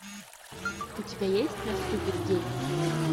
у тебя есть наступит день